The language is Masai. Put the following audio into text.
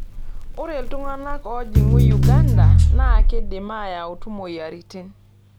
Ore iltung'gana oojing'gu Uganda naa keidim aayu moyiaritin.